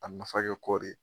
A nafa kɛ kɔɔri ye.